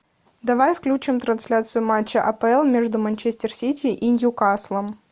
давай включим трансляцию матча апл между манчестер сити и ньюкаслом